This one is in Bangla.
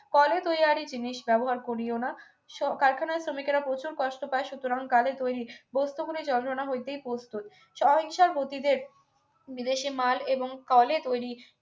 কলে তৈয়ারী জিনিস ব্যবহার করিও না কারখানার শ্রমিকরা প্রচুর কষ্ট পায় সুতরাং কলে তৈরি বস্তুগুলির যত্ন না হইতেই প্রস্তুত স্বহিংসার পতিদেব বিদেশি মাল এবং কলে তৈরি